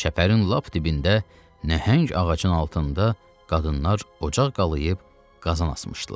Çəpərin lap dibində nəhəng ağacın altında qadınlar ocaq qalayb qazan asmışdılar.